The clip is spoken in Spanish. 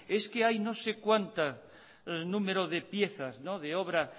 es que hay no sé cuantas número de piezas de obra